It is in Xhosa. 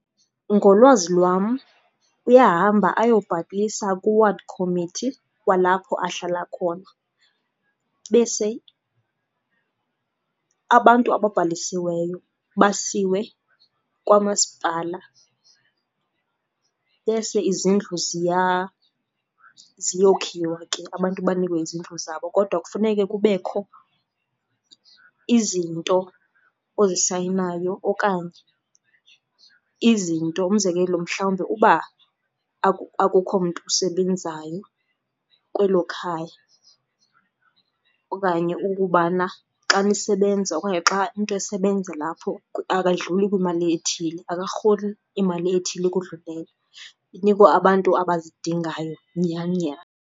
Ngolwazi lwam uyahamba ayobhalisa ku-ward committee walapho ahlala khona, bese abantu ababhalisiweyo basiwe kwamasipala. Bese izindlu ziyokhiwa ke, abantu banikwe izindlu zabo. Kodwa kufuneka kubekho izinto ozisayinayo okanye izinto, umzekelo mhlawumbi uba akukho mntu usebenzayo kwelo khaya. Okanye ukubana xa nisebenza okanye xa umntu esebenza lapho akadluli kwimali ethile, akarholi imali ethile ukodlulela. Inikwa abantu abazidingayo nyhani nyhani.